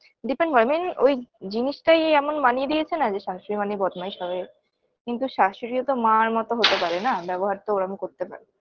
depend করে main ওই জিনিসটাই এমন বানিয়ে দিয়েছে না যে শাশুড়ি মানেই বদমাইশ হবে কিন্তু শাশুড়িও তো মার মত হতে পারে না ব্যবহার তো ওরম করতে পারে